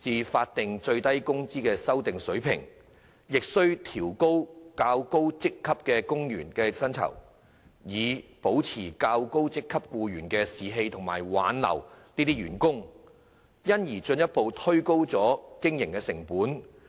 至經修訂的法定最低工資水平，亦須調高較高職級員工的薪酬，以保持較高職級僱員的士氣和挽留這些員工，因而進一步推高經營成本。